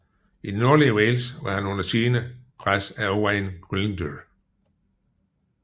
I det nordlige Wales var han under stigende pres af Owain Glyndŵr